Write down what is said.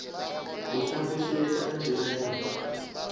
u sa fushea kana mbilaelo